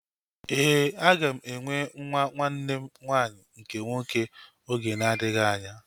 Éè, aga m enwe nwa nwanne m nwanyị nke nwoke oge na-adịghị anya